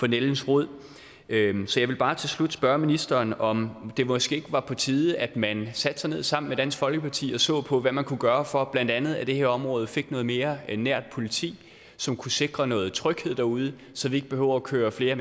nældens rod så jeg vil bare til slut spørge ministeren om det måske ikke var på tide at man satte sig ned sammen med dansk folkeparti og så på hvad man kunne gøre for at blandt andet det her område fik noget mere nært politi som kunne sikre noget tryghed derude så de ikke behøver at køre flere